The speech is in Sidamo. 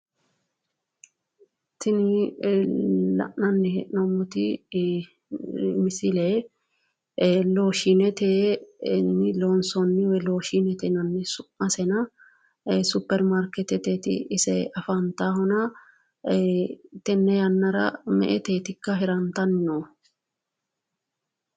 tini lananni heenoommoti miisile looshshinetenni loonsoonni looshshine yinanni su'maseno looshshinete superimarkeetete afantano tene yanaara me'eteetika hirantanni noohu?